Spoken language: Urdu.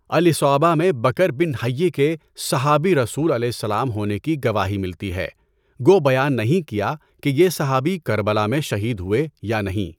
الاِصابَہ میں بکر بن حیّ کے صحابیِ رسولؐ ہونے کی گواہی ملتی ہے، گو بیان نہیں کیا کہ یہ صحابی کربلا میں شہید ہوئے یا نہیں؟